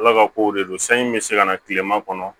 Ala ka kow de don sanji bɛ se ka na tilema kɔnɔ